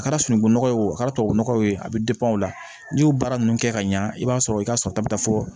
A kɛra sunungunɔgɔ ye wo a kɛra tubabu nɔgɔ ye a bɛ o la n'i y'o baara ninnu kɛ ka ɲɛ i b'a sɔrɔ i ka sɔrɔta bɛ taa fɔ